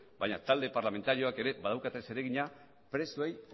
baina talde parlamentarioak ere badaukate zeregina presoei